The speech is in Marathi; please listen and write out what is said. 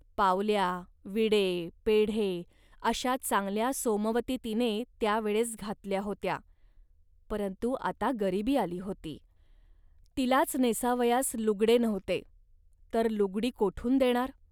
पावल्या, विडे, पेढे अशा चांगल्या सोमवती तिने त्या वेळेस घातल्या होत्या, परंतु आता गरिबी आली होती. तिलाच नेसावयास लुगडे नव्हते, तर लुगडी कोठून देणार